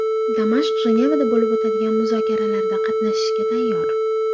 Damashq Jenevada bo‘lib o‘tadigan muzokaralarda qatnashishga tayyor.